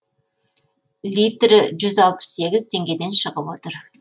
литрі жүзалпыс сегіз теңгеден шығып отыр